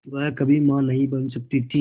वह कभी मां नहीं बन सकती थी